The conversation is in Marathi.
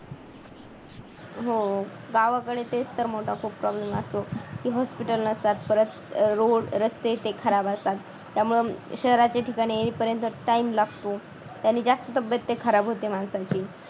हो गावाकडे तेच तर मोठा खूप problem असतो की hospital नसतात परत अह road रस्ते ते खराब असतात. त्यामुळे शहराच्या ठिकाणी येईपर्यंत time लागतो त्याने जास्त तब्येत ते खराब होती माणसांची